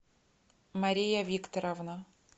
мария викторовна